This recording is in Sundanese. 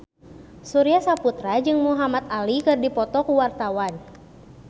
Surya Saputra jeung Muhamad Ali keur dipoto ku wartawan